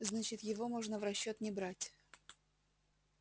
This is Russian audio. значит его можно в расчёт не брать